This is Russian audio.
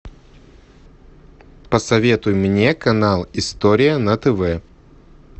посоветуй мне канал история на тв